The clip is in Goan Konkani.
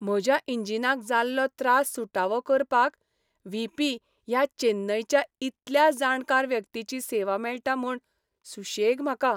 म्हज्या इंजिनाक जाल्लो त्रास सुटावो करपाक व्ही. पी. ह्या चेन्नयच्या इतल्या जाणकार व्यक्तीची सेवा मेळटा म्हूण सुशेग म्हाका.